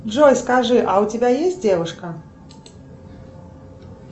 джой скажи а у тебя есть девушка